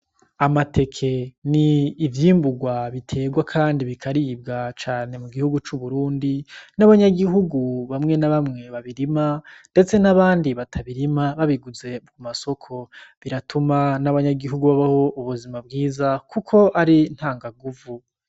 Amateke ni ivyimburwa biterwa kandi bikaribwa cane mu gihugu c'Uburundi n'abanyagihugu bamwe na bamwe babirima ndetse n'abandi batabirima, babiguze mu masoko. Biratuma n'abanyagihugu babaho ubuzima bwiza kuko ari ntanganguvu.